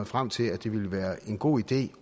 frem til at det ville være en god idé